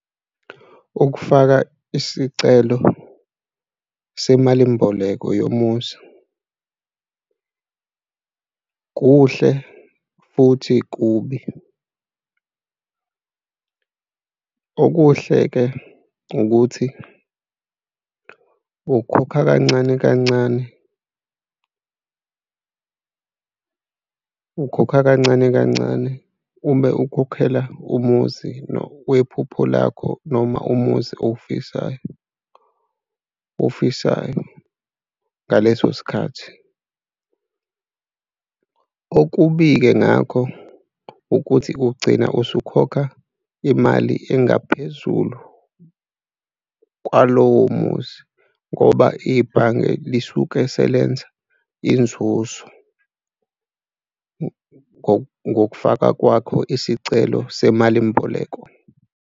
Ukufaka isicelo semalimboleko yomuzi kuhle futhi kubi. Okuhle-ke ukuthi ukhokha kancane kancane, ukhokha kancane kancane, ube ukhokhela umuzi wephupho lakho, noma umuzi owufisayo, owufisayo ngaleso sikhathi. Okubi-ke ngakho ukuthi ugcina usukhokha imali engaphezulu kwalowo muzi ngoba ibhange lisuke selenza inzuzo ngokufaka kwakho isicelo semalimboleko.